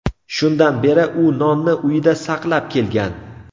Shundan beri u nonni uyida saqlab kelgan.